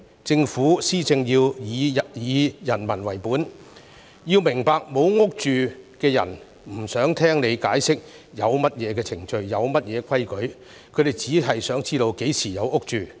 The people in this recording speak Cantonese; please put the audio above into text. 政府施政要以人民為本，並要明白"冇屋住"的人不想聽政府解釋有何程序及規矩，他們只想知道何時"有屋住"。